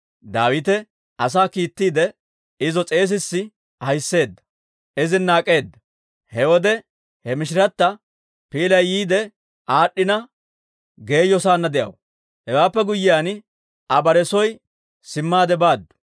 Daawite asaa kiittiide, izo s'eesissi ahissiide, izina ak'eeda. He wode he mishirata piilay yiide aad'd'ina, geeyo saanna de'aw. Hewaappe guyyiyaan, Aa bare soo simmaade baaddu.